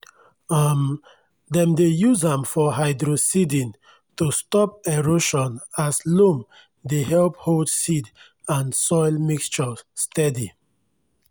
um dem dey use am for hydroseeding to stop erosionas loam dey help hold seed and soil mixture steady.